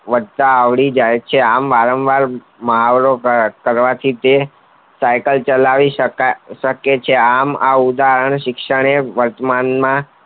વધતા આવડી જય છે વારંવાર મુહાવરો કરવાથી સાયકલ ચલાવી શકે છે આમ આ ઉદાહરણ શિક્ષણે વર્તમાનમાં